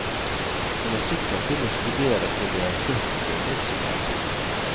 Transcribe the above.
Kommer sikkert til å studere til jeg er førti minst, jeg.